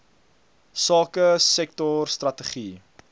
sake sektor strategie